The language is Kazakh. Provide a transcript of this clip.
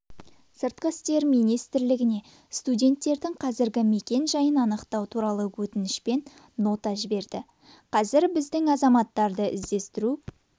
сыртқы істер министрлігіне студенттердің қазіргі мекенжайын анықтау туралы өтінішпен нота жіберді қазір біздің азаматтарды іздестіру